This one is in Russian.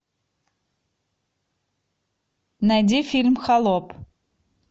найди фильм холоп